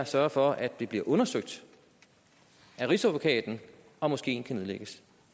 sørge for at det bliver undersøgt af rigsadvokaten om moskeen kan nedlægges